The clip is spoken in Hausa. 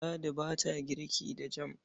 Ladi ba ta girki da jam.